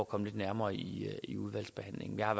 komme lidt nærmere i i udvalgsbehandlingen jeg har